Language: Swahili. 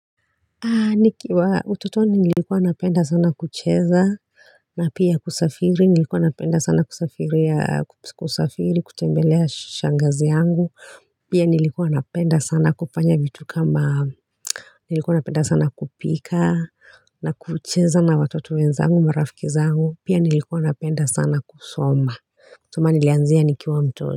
Nikiwa ututoni nilikuwa napenda sana kucheza na pia kusafiri nilikuwa napenda sana kusafiria kusafiri kutembelea shangazi yangu pia nilikuwa napenda sana kufanya vitu kama nilikuwa napenda sana kupika na kucheza na watoto wenzangu marafiki zangu pia nilikuwa napenda sana kusoma Soma nilianzia nikiwa mtoto.